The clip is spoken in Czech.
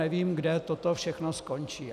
Nevím, kde toto všechno skončí.